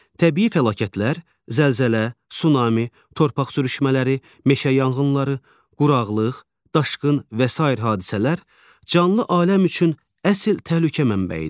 Təbii fəlakətlər, zəlzələ, sunami, torpaq sürüşmələri, meşə yanğınları, quraqlıq, daşqın və sair hadisələr canlı aləm üçün əsl təhlükə mənbəyidir.